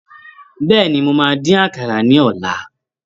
Bẹ́ẹ̀ni, mo máa dín àkàrà ní ọ̀la.